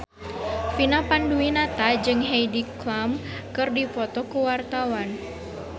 Vina Panduwinata jeung Heidi Klum keur dipoto ku wartawan